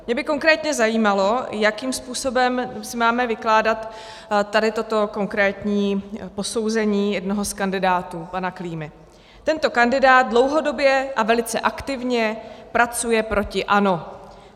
Mě by konkrétně zajímalo, jakým způsobem si máme vykládat tady toto konkrétní posouzení jednoho z kandidátů, pana Klímy: "Tento kandidát dlouhodobě a velice aktivně pracuje proti ANO.